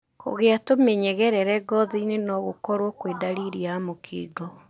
Kũgĩa tũmĩnyegerera ngothiinĩ nogũkworwo kwĩ ndariri ya mũkingo.